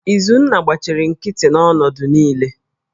Izunna gbachiri nkịtị n'ọnọdụ niile